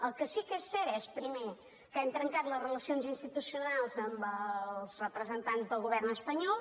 el que sí que és cert és primer que hem trencat les relacions institucionals amb els representants del govern espanyol